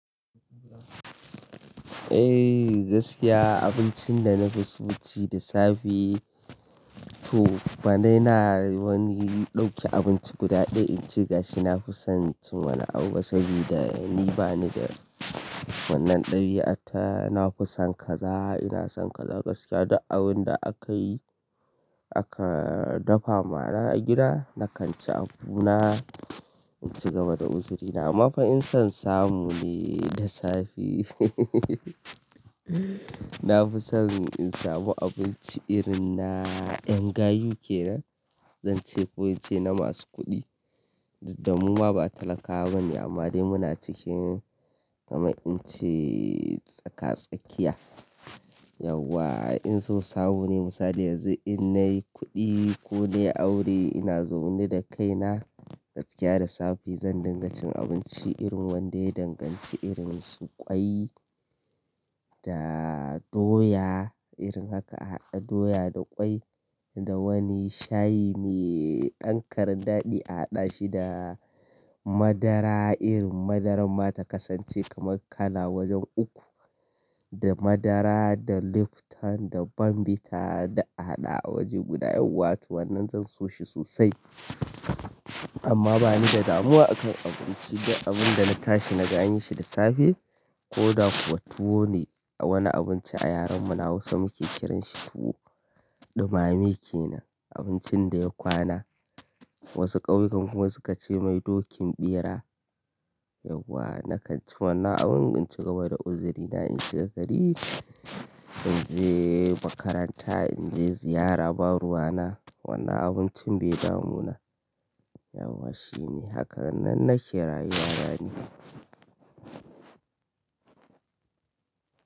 Eh gaskiya abincin da na fi so ci da safe to bana ina wani dauke abinci guda ɗaya in ci gashi na fi son cin wannan abu saboda ni bani da wannan ɗabi'a ta. Na fi son kaza ina son kaza gaskiya duk abun da aka yi aka dafa mana a gida na kan ci abuna in ci gaba da uzurina amma fa in son samu ne da safe. Na fi son in samu abinci irin na ƴan gayu ke nan zan ce ko in ce na masu kuɗi. Da mu ma ba talakawa ba ne amma dai muna cikin gama in ce tsaka-tsakiya. Yauwa in son samu ne misali yanzu in nayi kuɗi ko nayi aure ina zaune da kaina gaskiya da safe zan dinga cin abinci irin wanda ya danganci irin su ƙwai da doya irin haka a haɗa doya da ƙwai da wani shayi mai dankarin daɗi a haɗa shi da madara irin madaran mata kasance kamar kala wajen uku da madara da Luftan da Bambita da a haɗa a waje guda. Yauwa to wannan zan so shi sosai amma bani da damuwa akan abinci. Duk abun da na tashi na ga an yi shi da safe ko da kuwa tuwo ne a wani abinci a yaren mu na Hausa muke kiranshi tuwo. Ɗumame ke nan abincin da ya kwana. Wasu ƙauyukan kuma suke ce mai dokin ɓera. Yauwa na kan ci wannan abun in ci gaba da uzurina in shiga gari, in je makaranta, in je ziyara, baruwa na wannan abincin bai damu na. Yauwa shine haka nan nake rayuwana ni.